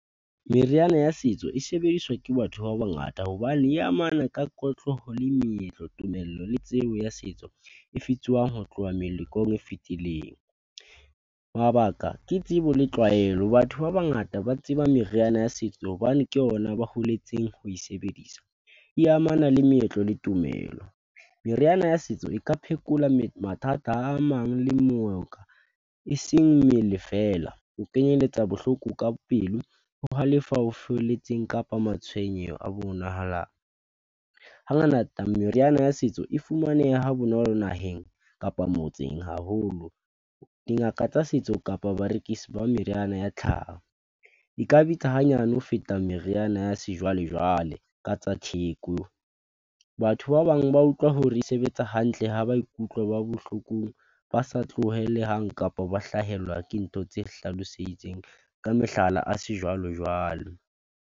Meriana ya setso e sebediswa ke batho ba bangata hobane e amana ka le meetlo, tumello le tsebo ya setso e ho tloha melekong e fetileng. Mabaka ke tsebo le tlwaelo. Batho ba bangata ba tseba meriana ya setso hobane ke ona ba holetseng ho e sebedisa, e amana le meetlo le tumelo. Meriana ya setso e ka phekola mathata a mang eseng mmele feela. Ho kenyeletsa bohloko ka pelo, ho halefa ho felletseng kapa matshwenyeho a bonahalang. Hangata meriana ya setso e fumaneha ha bonolo naheng kapa motseng haholo. Dingaka tsa setso kapa barekisi ba meriana ya tlhaho e ka bitsa hanyane ho feta meriana ya sejwalejwale ka tsa theko. Batho ba bang ba utlwa hore e sebetsa hantle ha ba ikutlwa ba bohlokong, ba sa tlohele hang, kapo ba hlahelwa ke ntho tse hlaloseditseng ka mehlala, a sejwalojwalo.